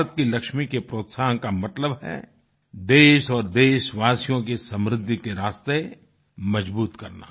भारत की लक्ष्मी के प्रोत्साहन का मतलब है देश और देशवासियों के समृद्धि के रास्ते मजबूत करना